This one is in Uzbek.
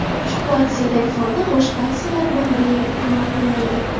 Ushbu aksiyadagi foyda boshqa aksiyalar bilan birgalikda amal qilmaydi.